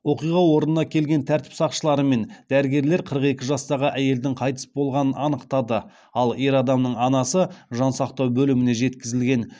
оқиға орнына келген тәртіп сақшылары мен дәрігерлер қырық екі жастағы әйелдің қайтыс болғанын анықтады ал ер адамның анасы жансақтау бөліміне жеткізілген